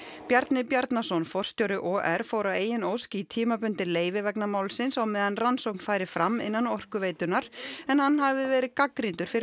Bjarni Bjarnason forstjóri OR fór að eigin ósk í tímabundið leyfi vegna málsins á meðan rannsókn færi fram innan Orkuveitunnar en hann hafði verið gagnrýndur fyrir